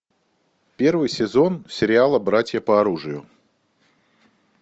первый сезон сериала братья по оружию